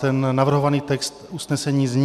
Ten navrhovaný text usnesení zní: